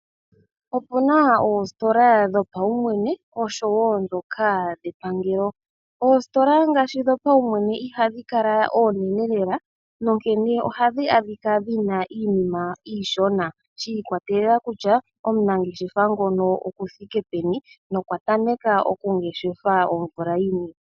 Opena oostola dhopaumwene noshowo dhepangelo. Oostola ngaashi dhopaumwene ihadhi kala oonene lela, onkene ohamu adhika mu na iinima iishona shi ikwatelela kutya omunangeshefa ngono okuthike peni nokwatameka okungeshefa omvula yini?